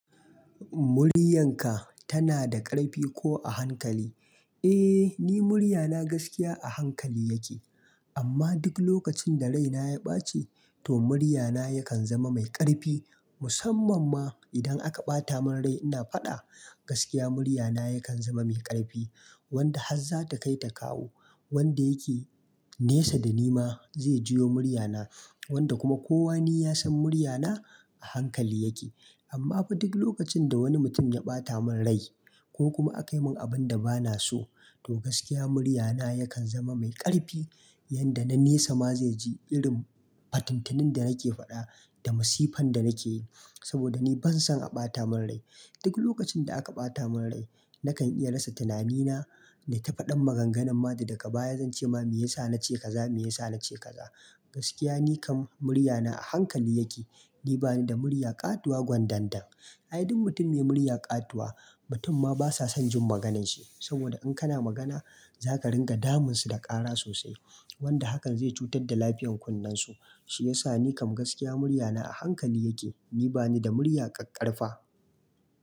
"Muryanka tana da ƙarfi ko a hankali?" Eh, ni muryana gaskiya a hankali yake, amma duk lokacin da raina ya ɓaci, to muryana yakan zama mai ƙarfi. Musamman ma idan aka ɓata mun rai ina faɗa, gaskiya muryana yakan zama mai ƙarfi wanda hasza ta kai ta kawo, wanda yake nesa da ni ma zai ji yo muryana, wanda kuma kowa ni ya san muryana a hankali yake. Amma fa duk lokacin da wani mutum ya ɓata mun rai ko kuma akayi mun abun da bana so, to gaskiya muryana yakan zama mai ƙarfi yanda na nesa ma zai ji irin fatuntunin da nake faɗa da masifan da nake yi. Saboda ni ban son a ɓata mun rai. Duk lokacin da aka ɓata mun rai nakan iya rasa tunamina na ta faɗan maganganun ma da daga baya zance ma me yasa na ce kaza, me yasa na ce kaza. Gaskiya ni kam muryana a hankali yake. Ni bani da murya ƙatuwa gwandandan. Ai duk mutum me murya ƙatuwa mutum ma basa son jin magananshi saboda in kana magana zaka ringa damun su da ƙara sosai wanda hakan zai cutar da lafiyan kunnen su. Shi yasa ni kam gaskiya muryana a hankali yake. Ni bani da murya ƙaƙarfa.